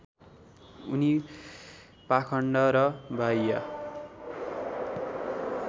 उनी पाखण्ड र बाह्य